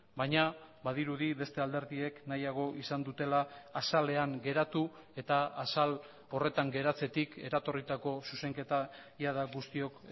baina badirudi beste alderdiek nahiago izan dutela azalean geratu eta azal horretan geratzetik eratorritako zuzenketa jada guztiok